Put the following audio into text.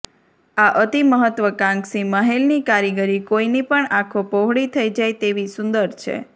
આ અતિ મહત્વકાંક્ષી મહેલની કારીગરી કોઈની પણ આંખો પહોળી થઈ જાય તેવી સુંદર છે